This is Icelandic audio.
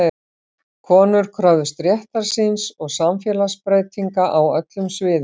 Konur kröfðust réttar síns og samfélagsbreytinga á öllum sviðum.